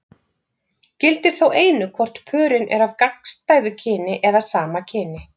Gildir þá einu hvort pörin eru af gagnstæðu kyni eða sama kyni.